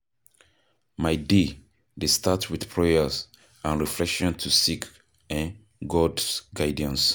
My day dey start with prayer and reflection to seek um God's guidance.